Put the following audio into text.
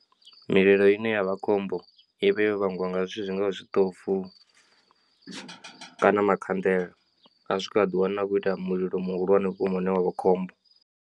Mililo ine yavha khombo i vha yo vhangwa nga zwithu zwingavha zwiṱofu kana makhanḓela a swika a ḓiwana a khou ita mulilo muhulwane vhukuma une wavha khombo.